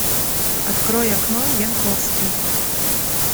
открой окно янковский